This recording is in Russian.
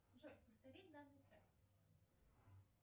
джой повтори данный трек